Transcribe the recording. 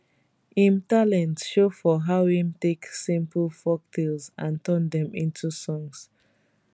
im talent show for how im take simple folktales and turn dem into songs